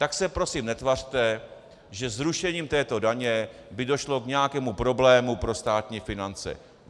Tak se prosím netvařte, že zrušením této daně by došlo k nějakému problému pro státní finance.